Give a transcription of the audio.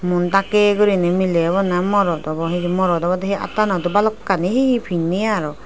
muon dakke gorine melay obow na morot obow hejani morot obowde attanot do balokkani he he pinay aro.